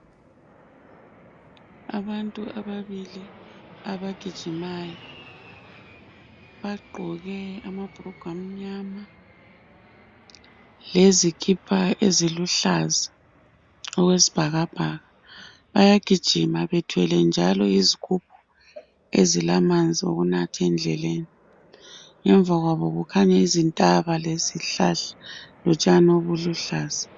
Abantu ababili abagijimayo bagqoke amnyama lezikipa eziluhlaza okwesibhakabhaka bayagijima bethwele njalo izigubhu ezilamanzi okunatha endleleni. Ngemva kwabo kukhanya izihlahla lezintaba ezilotshani obuluhlaza.